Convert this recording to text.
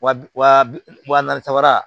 Wa bi wa bi wa naani saba